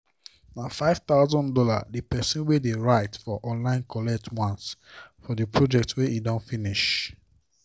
na five thousand dollars the person wey dey write for online collect once for the project wey e don complete finish